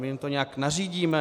My jim to nějak nařídíme?